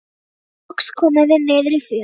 Loks komum við niður í fjöruna.